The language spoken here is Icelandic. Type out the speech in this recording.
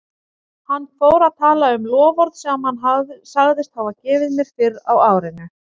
Hann fór að tala um loforð sem hann sagðist hafa gefið mér fyrr á árinu.